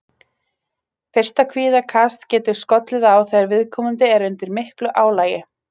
Fyrsta kvíðakast getur skollið á þegar viðkomandi er undir miklu álagi.